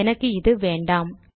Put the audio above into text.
எனக்கு இது வேண்டாம்